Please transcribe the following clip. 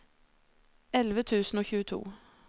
elleve tusen og tjueto